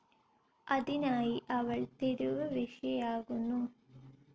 അതിനായി അവൾ തെരുവ് വേശ്യയാകുന്നു.